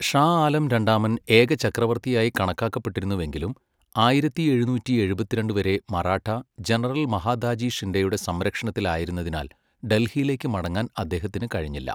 ഷാ ആലം രണ്ടാമൻ ഏക ചക്രവർത്തിയായി കണക്കാക്കപ്പെട്ടിരുന്നുവെങ്കിലും ആയിരത്തി എഴുന്നൂറ്റി എഴുപത്തിരണ്ട് വരെ മറാഠാ ജനറൽ മഹാദാജി ഷിൻഡെയുടെ സംരക്ഷണത്തിലയിരുന്നതിനാൽ ഡൽഹിയിലേക്ക് മടങ്ങാൻ അദ്ദേഹത്തിന് കഴിഞ്ഞില്ല.